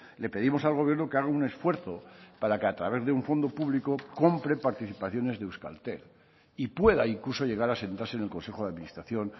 le pedimos al gobierno que haga un esfuerzo para que a través de un fondo público compre participaciones de euskaltel y pueda incluso llegar a sentarse en el consejo de administración